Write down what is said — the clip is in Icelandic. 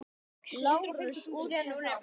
LÁRUS: Út með það!